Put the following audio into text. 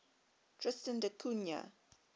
tristan da cunha